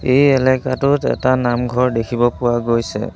এই এলেকাটোত এটা নামঘৰ দেখিব পোৱা গৈছে।